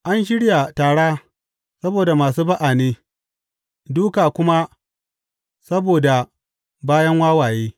An shirya tara saboda masu ba’a ne, dūka kuma saboda bayan wawaye.